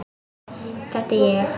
Þetta er ég.